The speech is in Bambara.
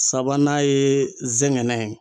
Sabanan ye n zɛngɛnɛ.